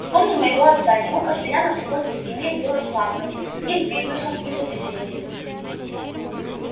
вспомни моего отца ему постоянно приходится иметь дело с маглами их бизнесом изобретениями